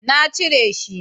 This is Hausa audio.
na cire shi